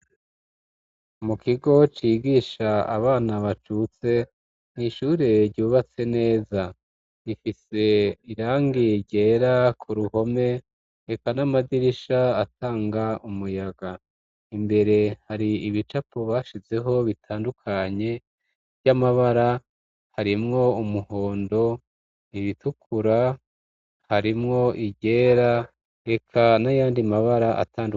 Mu kigo cigisha abana bacutse nk'ishure ryubatse neza, gifise irangi ryera ku ruhome eka n'amadirisha atanga umuyaga. Imbere hari ibicapo bashizeho bitandukanye vy'amabara harimwo umuhondo, iritukura harimwo iryera eka n'ayandi mabara atandukanye.